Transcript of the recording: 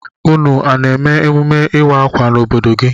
Ụnụ a na-eme emume ịwa akwa n'obodo gị?